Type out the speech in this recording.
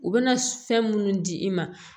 U bɛna fɛn minnu di i ma